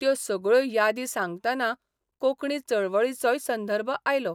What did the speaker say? त्यो सगळ्यो यादी सांगतना कोंकणी चळवळीचोय संदर्भ आयलो.